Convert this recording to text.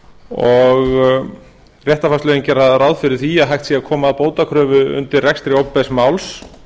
og réttarfarslögin gera ráð fyrir því að hægt sé að koma bótakröfu undir rekstri opinbers máls